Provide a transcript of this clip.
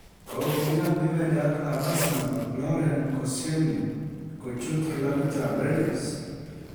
Kogoyan defendayatab Arsenal Laurent Kolscielny kochut clabitab Rennes.